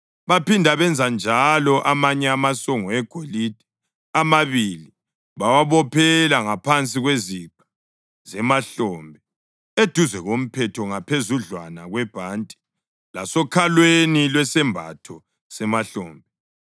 Baphinda benza njalo amanye amasongo egolide amabili bawabophela ngaphansi kweziqa zemahlombe, eduze komphetho ngaphezudlwana kwebhanti lasokhalweni lwesembatho semahlombe